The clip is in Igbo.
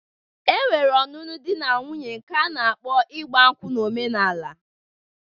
E nwere ọnụnụ di na nwuńye nke a na-akpọ ịgba nkwụ na omenala